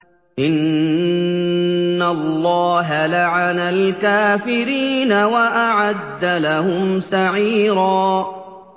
إِنَّ اللَّهَ لَعَنَ الْكَافِرِينَ وَأَعَدَّ لَهُمْ سَعِيرًا